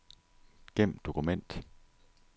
Gem dokument.